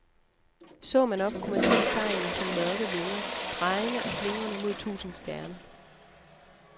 Så man op, kunne man se sejlene som mørke vinger, drejende og slingrende mod tusinde stjerner.